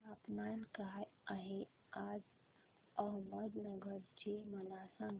तापमान काय आहे आज अहमदनगर चे मला सांगा